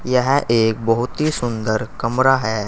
यह एक बहुत ही सुंदर कमरा है।